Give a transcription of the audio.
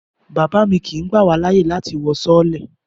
Bàbá mi kì í gbá wá láyè láti wọ sọọ́lẹ̀